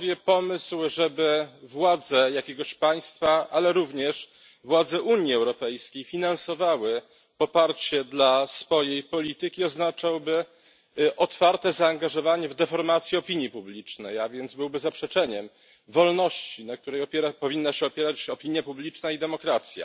Pomysł, żeby władze jakiegoś państwa, ale również władze Unii Europejskiej finansowały poparcie dla swojej polityki, oznaczałby otwarte zaangażowanie w deformację opinii publicznej, a więc byłby zaprzeczeniem wolności, na której powinna się opierać opinia publiczna i demokracja.